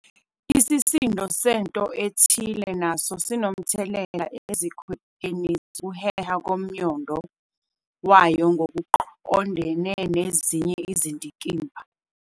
Isisindo sento ethile naso sinomthelela ezikhwepheni zokuheha komnyondo wayo ngokoqondene nezinye izindikimba.